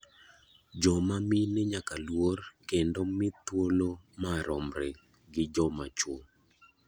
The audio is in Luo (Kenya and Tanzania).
Joma mine nyaka luor kendo mi thuolo maromre gi joma chuo.